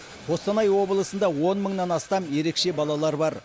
қостанай облысында он мыңнан астам ерекше бала бар